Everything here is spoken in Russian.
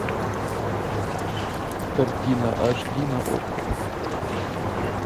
картина аш ди на окко